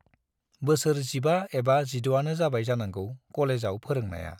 बोसोर जिबा एबा जिड'आनो जाबाय जानांगौ कलेजाव फोरोंनाया।